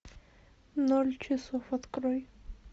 ноль часов открой